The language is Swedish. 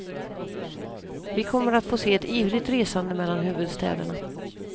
Vi kommer att få se ett ivrigt resande mellan huvudstäderna.